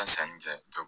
sanni kɛ